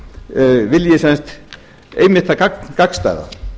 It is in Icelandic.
vilji sem sagt einmitt hið gagnstæða